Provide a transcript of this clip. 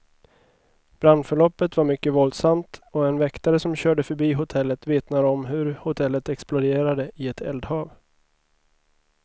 Brandförloppet var mycket våldsamt, och en väktare som körde förbi hotellet vittnar om hur hotellet exploderade i ett eldhav.